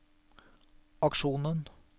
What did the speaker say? aksjonen